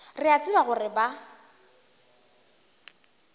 re a tseba gore ba